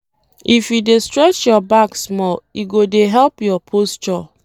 If you dey stretch your back small, e go dey help your posture.